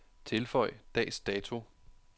Tilføj dags dato.